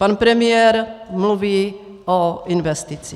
Pan premiér mluví o investicích.